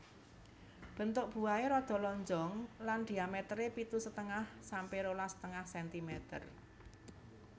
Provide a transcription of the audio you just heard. Bentuk buahe rada lonjong lan dhiametere pitu setengah sampe rolas setengah sentimeter